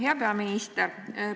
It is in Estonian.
Hea peaminister!